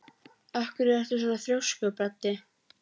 Af hverju ertu svona þrjóskur, Baddi?